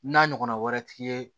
N'a ɲɔgɔnna wɛrɛ t'i ye